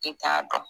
I t'a dɔn